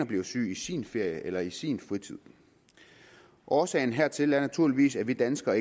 bliver syg i sin ferie eller i sin fritid årsagen hertil er naturligvis at vi danskere